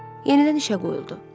Yenidən işə qoyuldu.